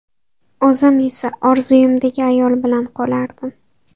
O‘zim esa orzuimdagi ayol bilan qolardim”.